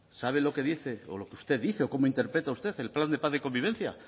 sabe lo que dice o lo que usted dice o cómo interpreta usted el plan de paz de convivencia